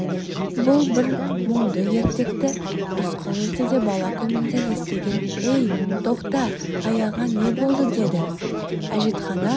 бұл бір мұңды ертекті рысқұл ертеде бала күнінде естіген ей тоқта аяғыңа не болды деді әжетхана